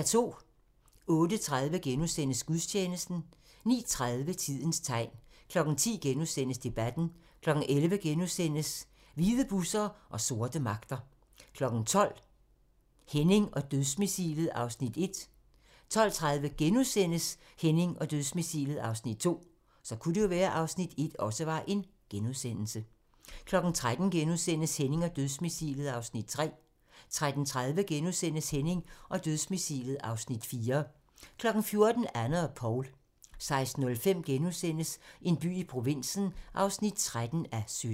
08:30: Gudstjeneste * 09:30: Tidens tegn 10:00: Debatten * 11:00: Hvide busser og sorte magter * 12:00: Henning og dødsmissilet (Afs. 1) 12:30: Henning og Dødsmissilet (Afs. 2)* 13:00: Henning og Dødsmissilet (Afs. 3)* 13:30: Henning og Dødsmissilet (Afs. 4)* 14:00: Anne og Paul 16:05: En by i provinsen (13:17)*